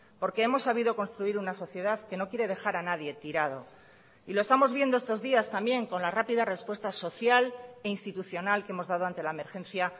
porque hemos sabido construir una sociedad que no quiere dejar a nadie tirado y lo estamos viendo estos días también con la rápida respuesta social e institucional que hemos dado ante la emergencia